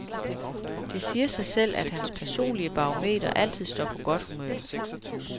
Det siger sig selv, at hans personlige barometer altid står på godt humør.